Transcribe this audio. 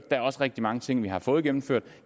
der er også rigtig mange ting vi har fået gennemført og